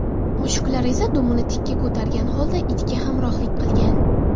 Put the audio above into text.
Mushuklar esa dumini tikka ko‘targan holda itga hamrohlik qilgan.